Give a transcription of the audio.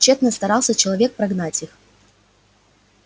чётно старался человек прогнать их